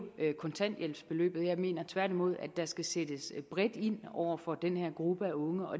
kontanthjælpsbeløbet jeg mener tværtimod at der skal sættes bredt ind over for den her gruppe af unge og